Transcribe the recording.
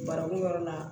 Barakun yɔrɔ la